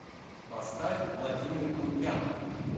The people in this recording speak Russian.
поставь владимир мунтян